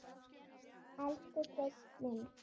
Elsku Sveinn minn.